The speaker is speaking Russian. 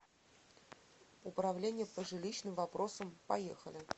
управление по жилищным вопросам поехали